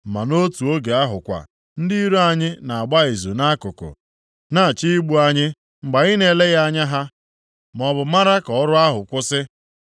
Ma nʼotu oge ahụ kwa, ndị iro anyị na-agba izu nʼakụkụ, na-achọ igbu anyị mgbe anyị na-eleghị anya ha maọbụ mara ka ọrụ ahụ kwụsị.